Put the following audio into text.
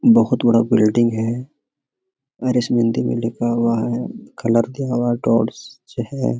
बहुत बड़ा बिल्डिंग है और इस मे हिंदी मे लिखा हुआ हैकलर दिया हुआ है डॉट्स है।